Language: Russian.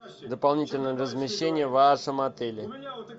дополнительное размещение в вашем отеле